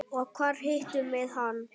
Og hvar hittum við hann?